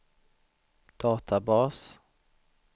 databas